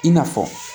I n'a fɔ